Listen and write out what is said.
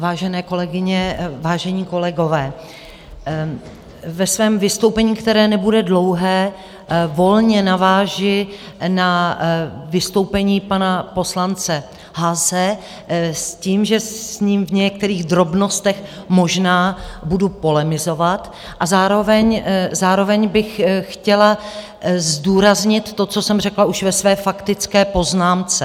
Vážené kolegyně, vážení kolegové, ve svém vystoupení, které nebude dlouhé, volně navážu na vystoupení pana poslance Haase s tím, že s ním v některých drobnostech možná budu polemizovat, a zároveň bych chtěla zdůraznit to, co jsem řekla už ve své faktické poznámce.